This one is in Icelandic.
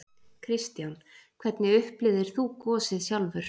Kristján: Hvernig upplifðir þú gosið sjálfur?